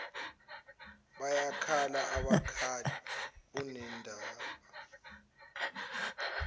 bayakhala abakhali unendaba